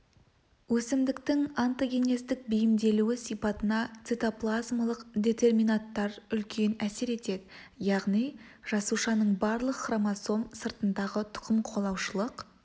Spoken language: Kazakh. өсімдіктің онтогенездік бейімделуі сипатына цитоплазмалық детерминанттар үлкен әсер етеді яғни жасушаның барлық хромосом сыртындағы тұқым қуалаушылық